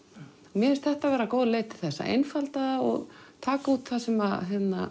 mér finnst þetta vera góð leið til þess að einfalda og taka út það sem